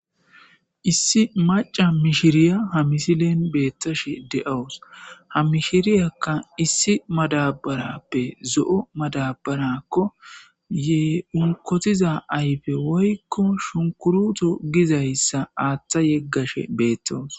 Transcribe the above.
Issi maca mishirya ha misilen beetashe de'awusi. Ha mishiryka issi madabarappe zo'o madarako.unkotiza ayfe woyko shunkuroto gizaysa aatha gegashe beetawusi.